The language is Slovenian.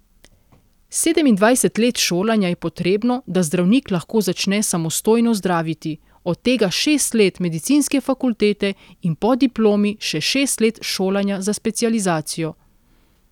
Sedemindvajset let šolanja je potrebno, da zdravnik lahko začne samostojno zdraviti, od tega šest let medicinske fakultete in po diplomi še šest let šolanja za specializacijo.